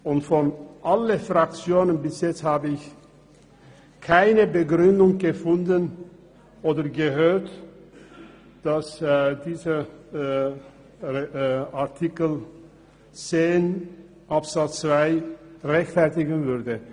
Ich habe bis jetzt von keiner Fraktion eine Begründung gehört, die den Artikel 10 Absatz 2 rechtfertigen würde.